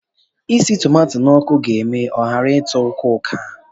Isi tomato n'ọkụ ga eme ọ ghara ịtọ uka-uka